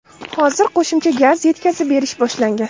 Hozir qo‘shimcha gaz yetkazib berish boshlangan.